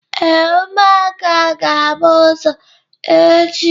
Ee, ụmụaka ga-agba ọsọ echi.